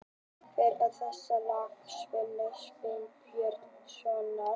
Hvert er þekktasta lag Sveinbjörns Sveinbjörnssonar?